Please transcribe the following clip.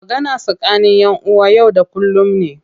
Magana tsakani ƴan uwa na yau da kullum ne.